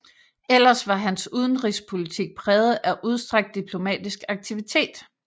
Ellers var hans udenrigspolitik præget af udstrakt diplomatisk aktivitet